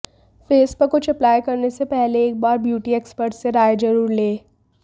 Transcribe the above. face पर कुछ apply करने से पहले एक बार ब्यूटी एक्सपर्ट से राय जरूर लें